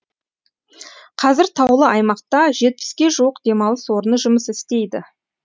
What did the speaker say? қазір таулы аймақта жетпіске жуық демалыс орны жұмыс істейді